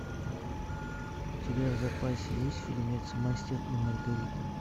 у тебя в запасе есть фильмец мастер и маргарита